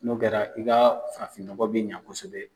N'o kɛra i ka farafinnɔgɔ be ɲɛ kosɛbɛ.